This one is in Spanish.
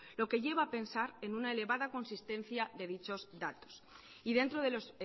lo que lleva a pensar en una elevada consistencia de dichos datos y dentro de los